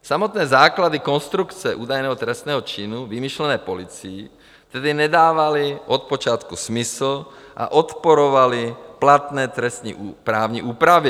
Samotné základy konstrukce údajného trestného činu vymyšlené policií tedy nedávaly od počátku smysl a odporovaly platné trestní právní úpravě.